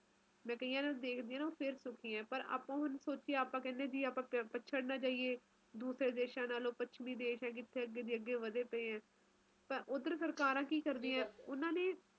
ਸਮੁੰਦਰੀ ਇਲਾਕਿਆਂ ਚ ਹੁੰਦਾ ਨਾ ਜਿਵੇ ਨਾ ਗਰਮੀ ਹੁੰਦੈ ਐ ਨਾ ਸਰਦੀ ਹੁੰਦੀ ਐ ਵਧੀਆ ਮੌਸਮ ਹੁੰਦਾ ਮਤਲਬ ਤੁਸੀ ਕੁਜ ਵੀ ਪਹਿਨ ਸਕਦੇਓ ਕੁਜ ਵੀ ਖਾ ਸਕਦੇ ਊ ਓਥੇ ਓਹਜਿਆ ਕੁਜ ਨਹੀਂ ਐ ਨਾ ਠੰਡ ਜ਼ਿਆਦਾ ਨਾ ਗਰਮੀ ਜ਼ਿਆਦਾ ਵਧੀਆ ਮਾਹੌਲ